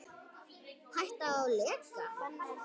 Hætta á leka?